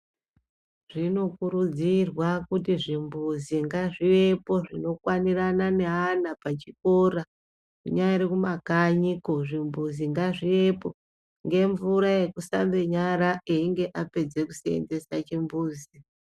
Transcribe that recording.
Zvinokurudzirwa kuti zvimbuzi ngazvivepo zvinokwanirana neana pachikora, kunyari kumakanyiko, zvimbuzi ngazvivepo, ngemvura yekusambe nyara einge apedze kuseenzese chimbuzi.